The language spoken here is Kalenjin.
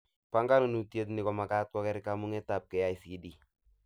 Banganutiet ni komagat koker komugetab KICD